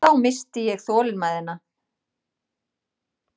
Þá missti ég þolinmæðina.